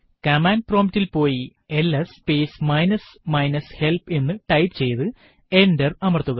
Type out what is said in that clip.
command prompt ൽ പോയി ls space minus minus help എന്ന് ടൈപ്പ് ചെയ്തു എന്റർ അമർത്തുക